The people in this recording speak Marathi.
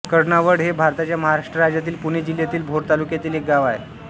कर्णावड हे भारताच्या महाराष्ट्र राज्यातील पुणे जिल्ह्यातील भोर तालुक्यातील एक गाव आहे